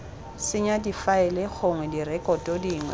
senya difaele gongwe direkoto dingwe